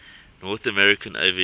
north american aviation